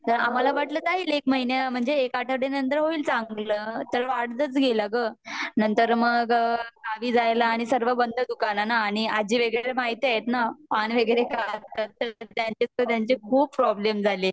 आम्हाला वाटल जाईल एक महिन्या म्हणजे एक आठवड्यानंतर होईल चांगल तर वाढतच गेला ग नंतर मग अ गावी जायला आणि सर्व बंद दुकान ना आणि आजी वैगेरे महितीए ना त्यांचे खूप प्रोब्लेम झाले.